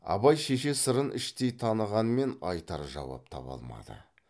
абай шеше сырын іштен танығанмен айтар жауап таба алмады